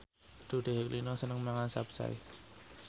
Dude Herlino seneng mangan capcay